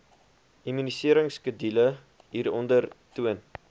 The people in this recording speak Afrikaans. immuniseringskedule hieronder toon